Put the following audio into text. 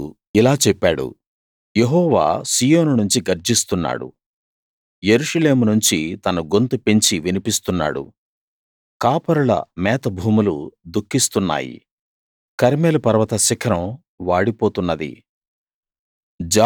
అతడు ఇలా చెప్పాడు యెహోవా సీయోను నుంచి గర్జిస్తున్నాడు యెరూషలేము నుంచి తన గొంతు పెంచి వినిపిస్తున్నాడు కాపరుల మేతభూములు దుఃఖిస్తున్నాయి కర్మెలు పర్వత శిఖరం వాడిపోతున్నది